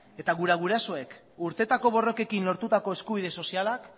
eta gure gurasoak urteetako borrokekin lortutako eskubide sozialak